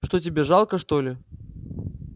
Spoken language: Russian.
что тебе жалко что ли